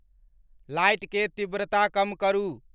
light के तीव्रता कम करु